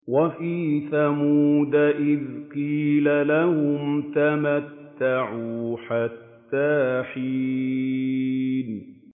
وَفِي ثَمُودَ إِذْ قِيلَ لَهُمْ تَمَتَّعُوا حَتَّىٰ حِينٍ